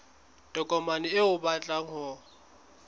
tokomane eo o batlang ho